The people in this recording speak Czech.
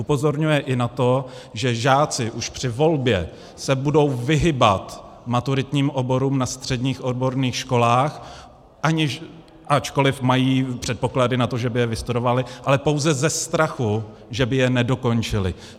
Upozorňuje i na to, že žáci už při volbě se budou vyhýbat maturitním oborů na středních odborných školách, ačkoliv mají předpoklady na to, že by je vystudovali, ale pouze ze strachu, že by je nedokončili.